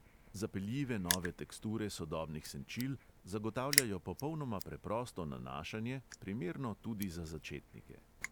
Zapeljive nove teksture sodobnih senčil zagotavljajo popolnoma preprosto nanašanje, primerno tudi za začetnike.